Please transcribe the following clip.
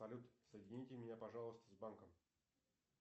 салют соедините меня пожалуйста с банком